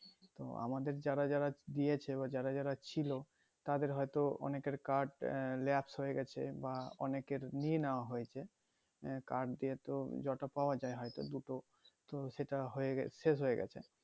তো আমাদের যারা যারা দিয়েছে যারা যারা ছিলো তাদের হয়তো অনেকের card আহ lapse হয়ে গেছে বা অনেকের নিয়ে নেওয়া হয়েছে আহ card দিয়েতো যতো পাওয়া যাই দুটো তো সেটা হয়ে শেষ হয়ে গেছে